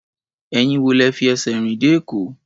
Ẹ̀yin wo lẹ fi ẹsẹ̀ rìn dé Èkó?